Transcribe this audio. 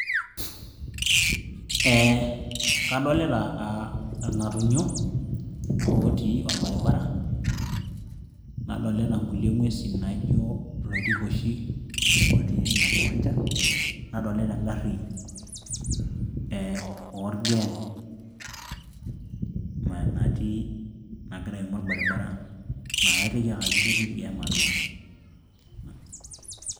ee kadolita ilng'atunyo ootii orbaribara nadolita nkulie ng'uesin naijo iloitikoshi otii ina kiwanja nadolita engarri orgem natii nagira aimu orbaribara naa kaiteki ake ajo ketii irgem atua.